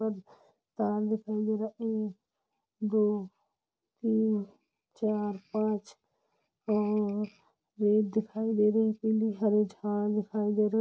तार दिखाई दे रहा-- एक दो तीन चार पांच और रेत दिखाई दे रही-- पीली हरी झाड़ दिखाई दे रही--